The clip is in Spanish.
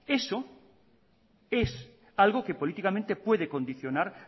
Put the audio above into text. eso es algo que políticamente puede condicionar